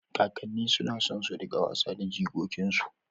Kakanni suna son su riƙa wasa da jikokinsu